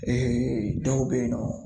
dɔw bɛ yen nɔ